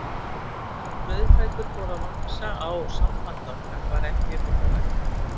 Eftir að brauðfætur fóru að vaxa á sambandi okkar var ekki um þetta rætt.